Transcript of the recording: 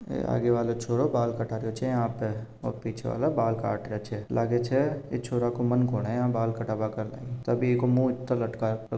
अ आगे वालो छोरो बाल कटारों छ यहां पे और पिछे वालो बाल काट रा छ लाग छ ई छोर को मन कोनी यहां बाल कटाव का तभी इको मुंह लटकायो --